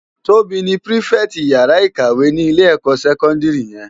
Tobi ni pirifèti iyàrá ikáwè ni ilé èkò sèkòndiri yèn